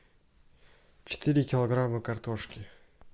четыре килограмма картошки